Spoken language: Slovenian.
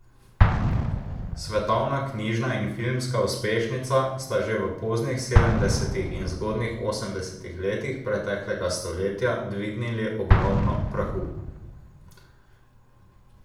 Svetovna knjižna in filmska uspešnica sta že v poznih sedemdesetih in zgodnjih osemdesetih letih preteklega stoletja dvignili ogromno prahu.